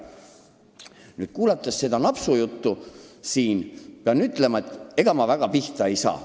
Nüüd, kuulanud seda napsujuttu, pean ütlema, et ega ma väga pihta ei saanud.